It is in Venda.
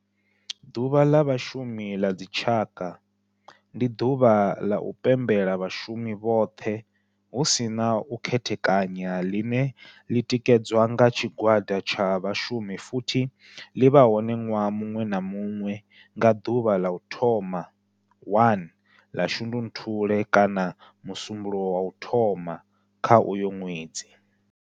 Ḓuvha la Vhashumi la dzi tshaka, ndi duvha la u pembela vhashumi vhothe hu si na u khethekanya line li tikedzwa nga tshigwada tsha vhashumi futhi li vha hone nwaha munwe na munwe nga duvha la u thoma 1 la Shundunthule kana musumbulowo wa u thoma kha uyo nwedzi.